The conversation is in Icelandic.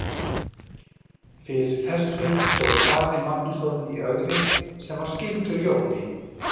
Fyrir þessu stóð Ari Magnússon í Ögri sem var skyldur Jóni.